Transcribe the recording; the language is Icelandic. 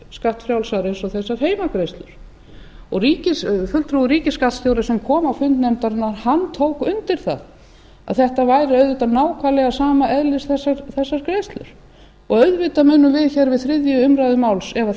skattfrjálsar eins og þessar heimgreiðslur fulltrúi ríkisskattstjóra sem kom á fund nefnarinnar tók undir það að þessar greiðslur væru auðvitað nákvæmlega sama eðlis og auðvitað munum við hér við þriðju umræðu máls ef þessar